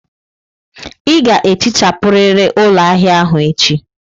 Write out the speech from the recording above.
Ị ga-ehichapụrịrị ụlọ ahịa ahụ echi!